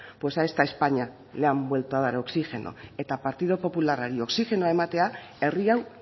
pues a esta españa le han vuelto a dar oxígeno eta partidu popularrari oxigenoa ematea herri hau